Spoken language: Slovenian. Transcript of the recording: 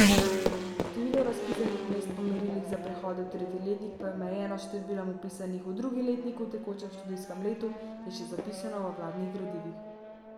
Število razpisanih mest po merilih za prehode v tretji letnik pa je omejeno s številom vpisanih v drugi letnik v tekočem študijskem letu, je še zapisano v vladnih gradivih.